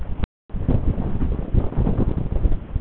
Mýrar hafa verið í lægðum þar sem grunnvatnsstaða var há.